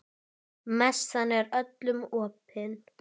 Messan er öllum opin.